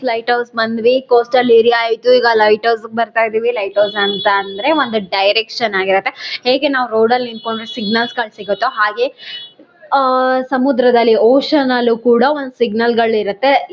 Light house ಬಂದ್ವಿ coastal area ಆಯಿತು ಈಗ ಲೈಟ್ ಹೌಸ್ ಗೆ ಬರ್ತಾ ಇದ್ದೀವಿ ಲೈಟ್ ಹೌಸ್ ಅಂತಂದ್ರೆ ಒಂದು ಡೈರೆಕ್ಷನ್ ಆಗಿರುತ್ತೆ. ಹೇಗೆ ನಾವು ರೋಡಲ್ಲಿ ನಿಂತ್ಕೊಂಡು ಸಿಗ್ನಲ್ ಗಳು ಸಿಗುತ್ತೋ ಹಾಗೆ ಹಾ ಸಮುದ್ರದಲ್ಲಿ ಓಷನ್ ನಲ್ಲಿ ಕೂಡ ಒಂದು ಸಿಗ್ನಲ್ ಗಳಿರುತ್ತೆ.